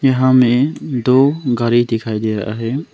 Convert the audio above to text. यहां में दो गाड़ी दिखाई दे रहा हैं।